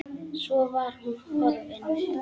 Svo var hún horfin.